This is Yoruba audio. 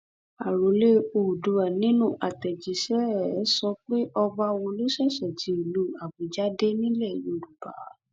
àròlé oòdùà nínú àtẹjíṣẹ ẹ sọ pé ọba wo ló ṣẹṣẹ ti ìlú àbújá dé nílẹ yorùbá